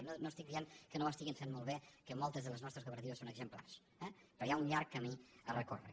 i no no estic dient que no ho estiguin fent molt bé que moltes de les nostres cooperatives són exemplars eh però hi ha un llarg camí a recórrer